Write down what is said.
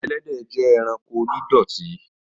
Ẹlẹ́dẹ̀ jẹ́ ẹranko onídọ̀tí